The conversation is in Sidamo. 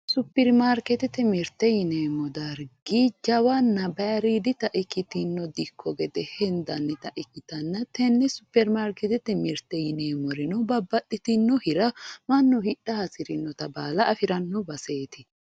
Superimaarkeete yineemmo dargi jawanna baayiiriiddita ikkitino dikko gede hendannita ikkitana tenne superimaarkeete mirte yineemmorino babbaxitino hira hasirinnota baala afiranno baseeti.